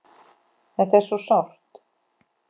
Þetta er svo sárt.